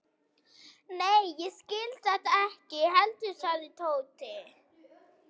Nei, ég skil þetta ekki heldur sagði Tóti.